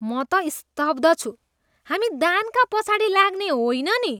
म त स्तब्ध छु! हामी दानका पछाडि लाग्ने होइन नि।